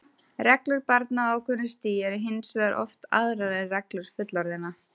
Reglur barna á ákveðnu stigi eru hins vegar oft aðrar en reglur fullorðinna.